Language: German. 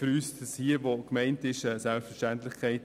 Für uns ist das, was gemeint ist, eine Selbstverständlichkeit.